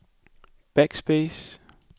backspace